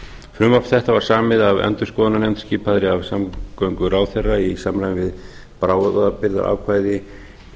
frumvarp þetta var samið af endurskoðunarnefnd skipaðri af samgönguráðherra í samræmi við bráðabirgðaákvæði